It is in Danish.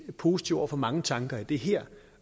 positive over for mange tanker i det her